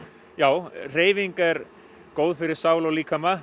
já hreyfing er góð fyrir sál og líkama